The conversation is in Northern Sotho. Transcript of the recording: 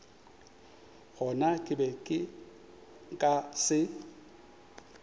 gona ke be nka se